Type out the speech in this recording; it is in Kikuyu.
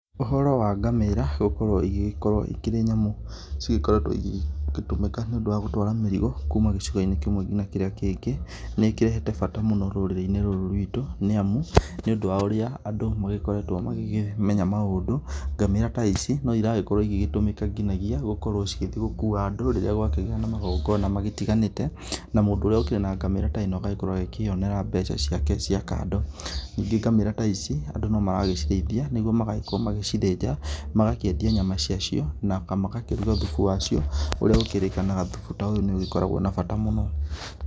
Ũhoro wa ngamĩra gũkorwo ĩgĩgĩkorwo ĩkĩrĩ nyamũ, cigĩkoretwo igĩtũmika nĩ ũndũ wa gũtwara mĩrigo, kuma gĩcigo-inĩ kĩmwe ngina kĩrĩa kĩngĩ, nĩ ikĩrehete bata mũno rũrĩrĩ -inĩ rũrũ rwitũ, nĩ amu, nĩ ũndũ wa ũrĩa andũ magĩkoretwo magĩkĩmenya maũndũ, ngamĩra ta ici no iragĩkorwo igĩtũmĩka nginagia gũgĩthiĩ gũkuwa andũ, rĩrĩa gwakĩgĩa na magongona magĩtiganĩte, na mũndũ ũrĩa ũkire na ngamĩra teno agakorwo akĩyonera mbeca ciake cia kando, ningĩ ngamĩra taici andũ no maragĩciraithia nĩguo magagĩkorwo magĩcithĩnja magakĩendia nyama cia cio, na magakĩrũga thũbũ wacio, ũrĩa ũkĩrĩkanaga thũbũ ta ũyũ nĩ ũkoragwo na bata mũno.